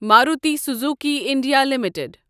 Maruti Suzuki India limited